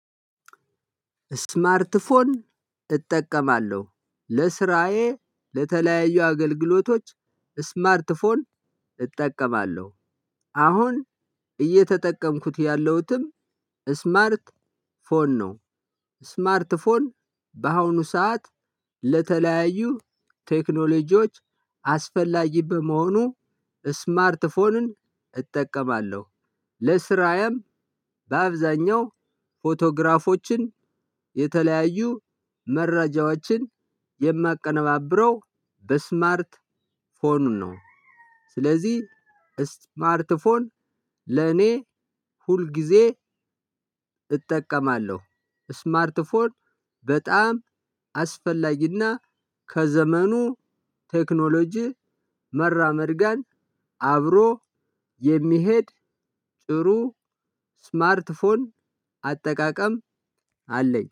ስማርት ፎን እጠቀማለሁ ለስራዬ ለተለያዩ አገልግሎቶች ስማርት ፎን እጠቀማለሁ። አሁን እየተጠቀምኩት ያለሁትም ስማርት ፎን ነው። ስማርት ፎን በአሁኑ ሰዓት ለተለያዩ ቴክኖሎጂዎች አስፈላጊ በመሆኑ ስማርት ፎንን እጠቀማለሁ። ለስራዬም በአብዛኛው ፎቶግራፎችን የተለያዩ መረጃዎችን የማቀነባብረው በስማርት ፎኑን ነው። ስለዚህ ስማርት ፎን ለእኔ ሁል ጊዜ እጠቀማለሁ። ስማርት ፎን በጣም አስፈላጊና ከዘመኑ ቴክኖሎጂ መራመድ ጋር አብሮ የሚሄድ ጥሩ ስማርት ፎን አጠቃቀም አለኝ